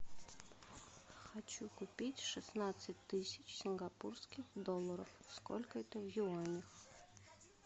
хочу купить шестнадцать тысяч сингапурских долларов сколько это в юанях